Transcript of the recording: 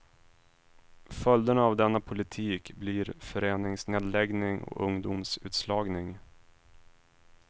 Följderna av denna politik blir föreningsnedläggning och ungdomsutslagning.